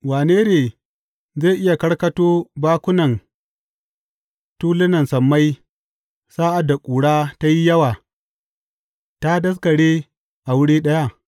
Wane ne zai iya karkato bakunan tulunan sammai sa’ad da ƙura ta yi yawa ta daskare a wuri ɗaya?